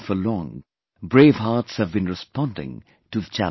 And for long, brave hearts have been responding to the challenge